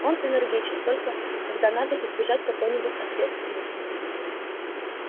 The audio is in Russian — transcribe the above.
он энергичен только когда надо избежать какой-нибудь ответственности